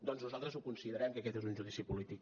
doncs nosaltres ho considerem que aquest és un judici polític